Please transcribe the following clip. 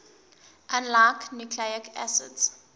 unlike nucleic acids